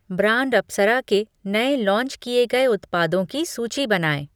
Brand Apsara के नए launch किए गए उत्पादों की सूची बनाएँ?